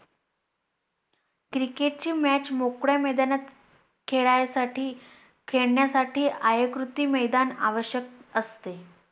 Cricket ची Match मोकळ्या मैदानात खेळायसाठी खेळण्यासाठी आयताकृती मैदान आवश्यक असते.